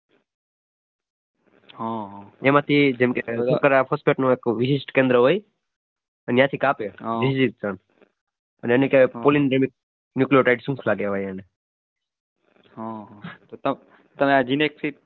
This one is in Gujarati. એમાંંથી જેમ કે .